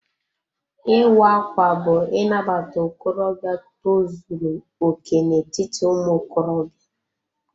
Ịwa ákwà bú Inabata okorobịa tozuru okè n'etiti ụmụ okorobịa.